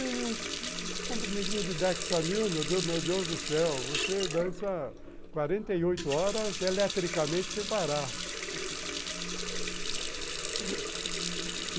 Um comprimidinho de Dexamil, meu Deus meu Deus do céu, você dança quarenta e oito horas eletricamente sem parar